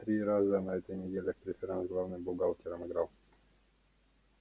три раза на той неделе в преферанс с главным бухгалтером играл